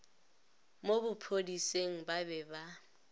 mo bophodiseng ba be ba